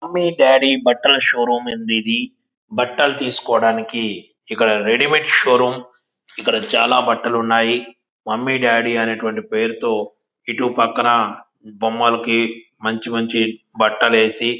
Mummy daddy బట్టల showroom అండి ఇది. బట్టలు తీసుకోవడానికి ఇక్కడ రెడీమేడ్ షో రూమ్ ఇక్కడ చాలా బట్టలు ఉన్నాయి. మమ్మీ డాడీ అనేటి వంటి పేరుతో ఇటు పక్కన బొమ్మలకి మంచి మంచి బట్టలు వేసి --